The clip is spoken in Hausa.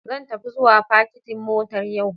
Zan tafi zuwa fakitin motar yau.